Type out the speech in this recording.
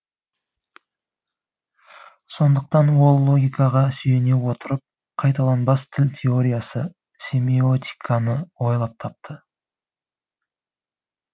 сондықтан ол логикаға сүйене отырып қайталанбас тіл теориясы семиотиканы ойлап тапты